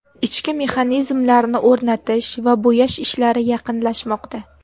Ichki mexanizmlarni o‘rnatish va bo‘yash ishlari yaqinlashmoqda.